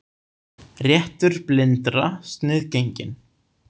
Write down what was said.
Réttur blindra sniðgenginn